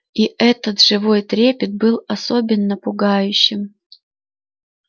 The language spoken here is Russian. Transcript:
и этот живой трепет был особенно пугающим